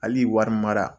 Hali wari mara